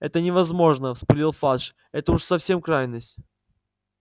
это невозможно вспылил фадж это уж совсем крайность